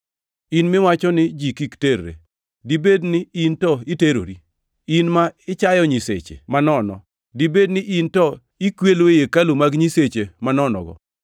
In miwacho ni ji kik terre, dibed ni to iterori? In ma ichayo nyiseche manono, dibed ni in to ikwelo ei hekalu mag nyiseche manonogo?